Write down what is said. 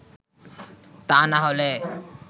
তা না হলে